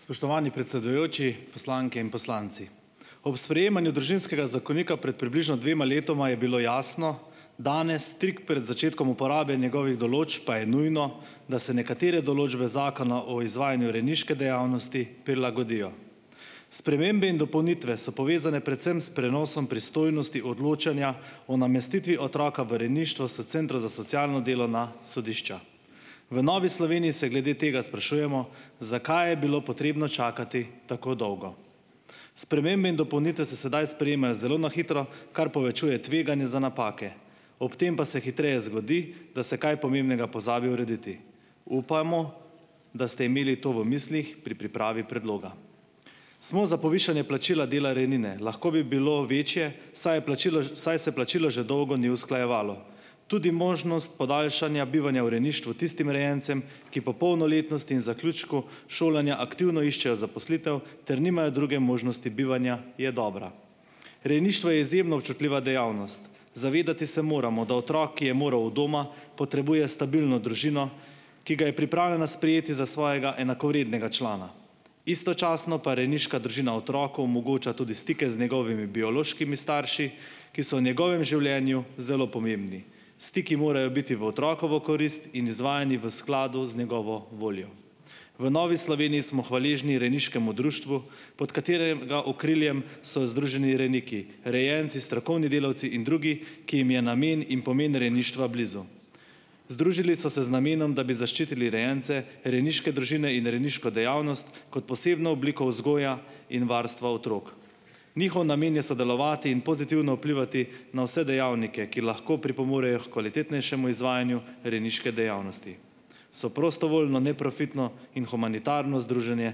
Spoštovani predsedujoči, poslanke in poslanci! Ob sprejemanju Družinskega zakonika pred približno dvema letoma je bilo jasno, danes tik pred začetkom uporabe njegovih določb pa je nujno, da se nekatere določbe Zakona o izvajanju rejniške dejavnosti prilagodijo. Spremembe in dopolnitve so povezane predvsem s prenosom pristojnosti odločanja o namestitvi otroka v rejništvo s centrov za socialno delo na sodišča. V Novi Sloveniji se glede tega sprašujemo, zakaj je bilo potrebno čakati tako dolgo. Spremembe in dopolnitve se sedaj sprejemajo zelo na hitro, kar povečuje tveganje za napake, ob tem pa se hitreje zgodi, da se kaj pomembnega pozabi urediti. Upajmo, da ste imeli to v mislih pri pripravi predloga. Smo za povišanje plačila dela rejnine. Lahko bi bilo večje, saj je plačilo saj se plačilo že dolgo ni usklajevalo. Tudi možnost podaljšanja bivanja v rejništvu tistim rejencem, ki po polnoletnosti in zaključku šolanja aktivno iščejo zaposlitev ter nimajo druge možnosti bivanja, je dobra. Rejništvo je izjemno občutljiva dejavnost. Se moramo zavedati, da otrok je moral od doma, potrebuje stabilno družino, ki ga je pripravljena sprejeti za svojega enakovrednega člana, istočasno pa rejniška družina otroku omogoča tudi stike z njegovimi biološkimi starši, ki so v njegovem življenju zelo pomembni. Stiki morajo biti v otrokovo korist in izvajani v skladu z njegovo voljo. V Novi Sloveniji smo hvaležni rejniškemu društvu, pod katerega okriljem so združeni rejniki, rejenci, strokovni delavci in drugi, ki jim je namen in pomeni rejništva blizu. Združili so se z namenom, da bi zaščitili rejence, rejniške družine in rejniško dejavnost kot posebno obliko vzgoje in varstva otrok. Njihov namen je sodelovati in pozitivno vplivati na vse dejavnike, ki lahko pripomorejo h kvalitetnejšemu izvajanju rejniške dejavnosti. So prostovoljno neprofitno in humanitarno združenje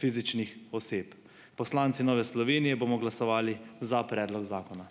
fizičnih oseb. Poslanci Nove Slovenije bomo glasovali za predlog zakona.